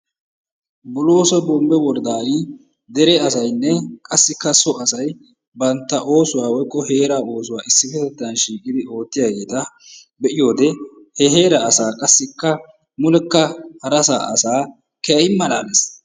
Bolooso Bombbe woradan dere asaynne qassikka so asay bantta oosuwa woykko heeraa oosuwa issippetetan shiiqidi oottiyageeta be'iyode he heera asa qassikka mulekka haraasa asaa keehin malaalees.